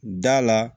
Da la